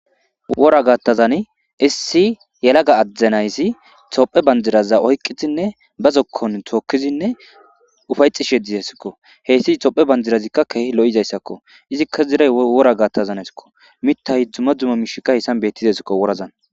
wora gaattazan issi yalaga addzenayssi tophe banjiraza oyqqizinne ba zokkon tookizinne ufayxi sheddi hesikko heyssi topphe banjirazikka kehi lo7izayssakko izikka ziray wora gaattazanaysakko mittahi dzuma dzuma mishikka heyssan bettizasikko worazan